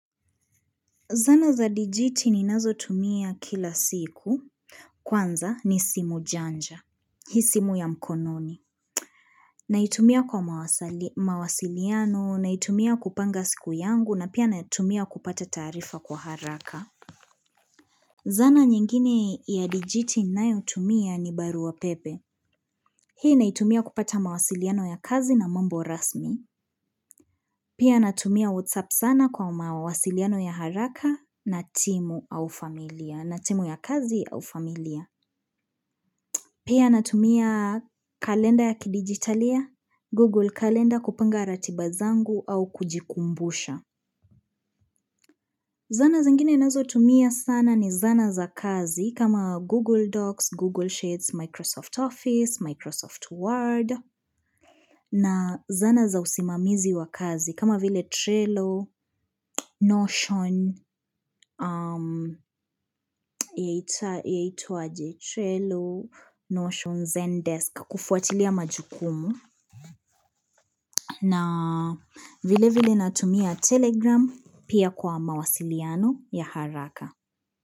Zana za dijiti ninazo tumia kila siku Kwanza ni simu janja Hii simu ya mkononi Naitumia kwa mawasiliano, naitumia kupanga siku yangu na pia naitumia kupata taarifa kwa haraka Zana nyingine ya dijiti ninayotumia ni barua pepe Hii naitumia kupata mawasiliano ya kazi na mambo rasmi Pia natumia WhatsApp sana kwa mawasiliano ya haraka na timu au familia, na timu ya kazi au familia. Pia natumia kalenda ya kidijitalia, Google Calendar kupanga ratiba zangu au kujikumbusha. Zana zingine ninazotumia sana ni zana za kazi kama Google Docs, Google Shades, Microsoft Office, Microsoft Word. Na zana za usimamizi wa kazi kama vile Trello, Notion, Zen Desk kufuatilia majukumu na vile vile natumia telegram pia kwa mawasiliano ya haraka.